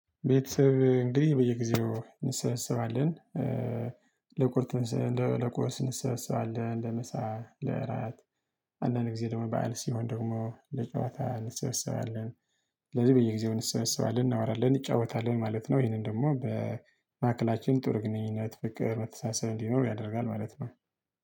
ቤተሰብ እንግዲህ በየጊዜው እንሰበስባለን። ለቁርጥ እንደ ለቁርስ እንሰበስባለን ለመሳ ለእራት። አንዳንድ ጊዜ ደግሞ በዓል ሲሆን ደግሞ ለጨዋታ እንሰበሰባለን። ስለዚህ በየጊዜው እንሰበስባለን እናወራለን እንጫወታለን ማለት ነው። ይሄንን ደግሞ በማዕከላችን ጥር ግንኙነት ፍቅር መተሳሰብ እንኖር ያደርጋል ማለት ነው